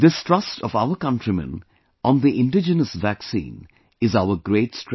This trust of our countrymen on the indigenous vaccine is our great strength